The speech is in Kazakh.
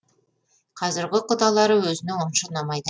қазіргі құдалары өзіне онша ұнамайды